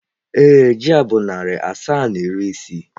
ee, ji a bụ narị naira asaa na iri isii.